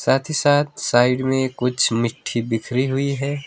साथ ही साथ साइड में कुछ मिट्टी बिखरी हुई है।